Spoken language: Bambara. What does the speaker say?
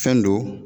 Fɛn don